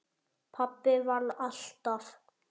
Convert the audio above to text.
Pabbi vann alltaf.